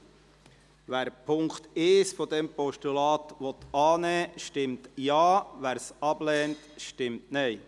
Wer den Punkt 1 dieses Postulats annehmen will, stimmt Ja, wer dies ablehnt, stimmt Nein.